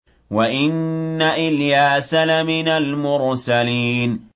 وَإِنَّ إِلْيَاسَ لَمِنَ الْمُرْسَلِينَ